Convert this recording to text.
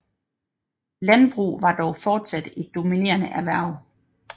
Landbrug var dog fortsat et dominerende erhverv